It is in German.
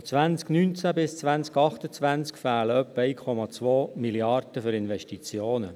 Von 2019 bis 2028 fehlen etwa 1,2 Mrd. Franken für Investitionen.